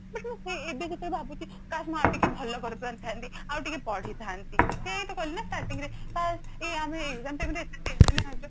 but ମୁଁ ଏବେ ଯେତେବେଳେ ଭାବୁଛି କାସ ମୁଁ ଆଉ ଟିକେ ଭଲ କରି ପାରିଥାନ୍ତି ଆଉ ଟିକେ ପଢିଥାନ୍ତି ସେଇଆ ତ କହିଲି ନା starting ରେ ଆମେ ଏଇ exam time ରେ ଏତେ tension ରେ ଥାଉଛେ